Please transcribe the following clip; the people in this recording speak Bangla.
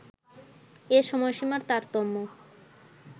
এ সময়সীমার তারতম্য